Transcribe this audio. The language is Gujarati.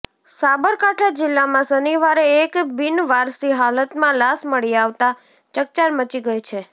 સાબરકાંઠા જીલ્લામાં શનિવારે એક બિનવારસી હાલતમાં લાશ મળી આવતા ચકચાર મચી ગઇ છે